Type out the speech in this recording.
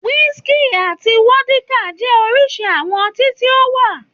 Wísíkì àti vódíkà jẹ́ oríṣi àwọn ọtí tí ó wà.